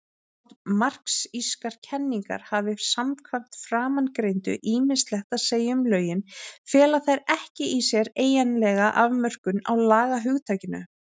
Þótt marxískar kenningar hafi samkvæmt framangreindu ýmislegt að segja um lögin, fela þær ekki í sér eiginlega afmörkun á lagahugtakinu.